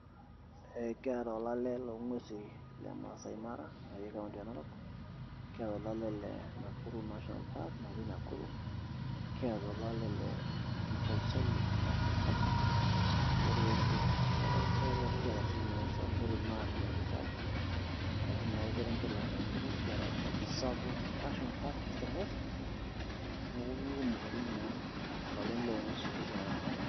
Kiata olale loong'uesi le Maasai Mara otii kaunti e Narok kiata olale le Nakuru National Park otii Nakuru kiata olale le Amboseli National Park otii orkerenget le Kajiado neeku kiata siinye Samburu National Reserve natii naa orkerenget le Samburu, kiata Tsavo National Park, East and West neeku kakumok oleng' naa ilaleta loonguesin likiata.